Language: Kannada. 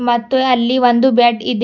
ಮತ್ತು ಅಲ್ಲಿ ಒಂದು ಬೆಡ್ ಇದೆ.